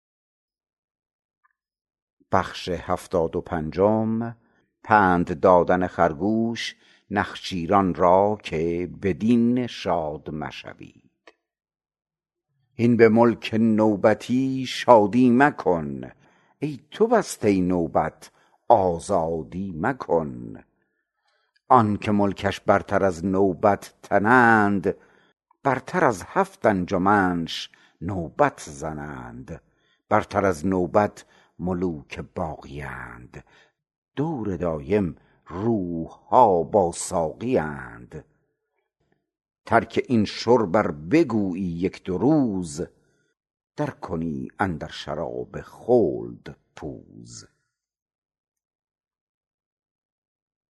هین به ملک نوبتی شادی مکن ای تو بسته نوبت آزادی مکن آنک ملکش برتر از نوبت تنند برتر از هفت انجمش نوبت زنند برتر از نوبت ملوک باقیند دور دایم روحها با ساقیند ترک این شرب ار بگویی یک دو روز در کنی اندر شراب خلد پوز